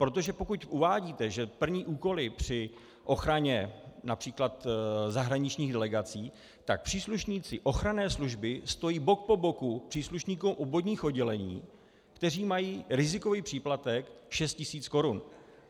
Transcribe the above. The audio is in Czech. Protože pokud uvádíte, že plní úkoly při ochraně například zahraničních delegací, tak příslušníci ochranné služby stojí bok po boku příslušníkům obvodních oddělení, kteří mají rizikový příplatek 6 tisíc korun.